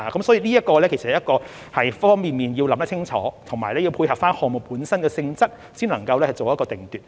所以，在很多方面也要想清楚，以及要配合項目本身的性質，才可以作定奪。